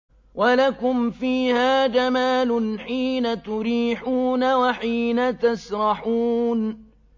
وَلَكُمْ فِيهَا جَمَالٌ حِينَ تُرِيحُونَ وَحِينَ تَسْرَحُونَ